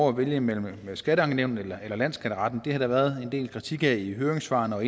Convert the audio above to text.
at vælge mellem et skatteankenævn eller landsskatteretten det har der været en del kritik af i høringssvarene og